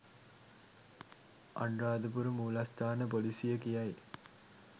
අනුරාධපුර මූලස්ථාන පොලිසිය කියයි.